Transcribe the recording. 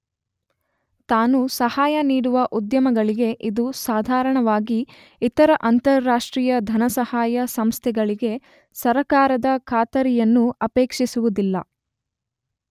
ತಾನು ಸಹಾಯ ನೀಡುವ ಉದ್ಯಮಗಳಿಗೆ ಇದು ಸಾಧಾರಣವಾಗಿ ಇತರ ಅಂತಾರಾಷ್ಟ್ರೀಯ ಧನಸಹಾಯ ಸಂಸ್ಥೆಗಳಿಗೆ ಸರ್ಕಾರದ ಖಾತರಿಯನ್ನು ಅಪೇಕ್ಷಿಸುವುದಿಲ್ಲ.